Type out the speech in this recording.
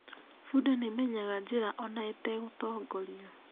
Bunda nĩ ĩmenyaga njĩra ona ĩtegũtongorio.